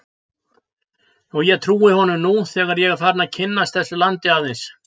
Og ég trúi honum nú þegar ég er farinn að kynnast þessu landi aðeins.